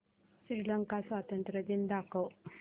श्रीलंका स्वातंत्र्य दिन दाखव